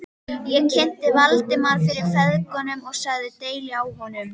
Ég kynnti Valdimar fyrir feðgunum og sagði deili á honum.